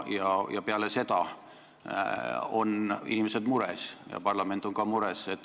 Pärast seda on inimesed mures ja parlament on ka mures.